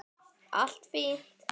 Allt fínt!